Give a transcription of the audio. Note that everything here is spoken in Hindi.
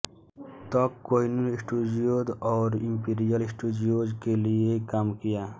तक कोहिनूर स्टूडियोज और इंपीरियल स्टूडियोज के लिए काम किया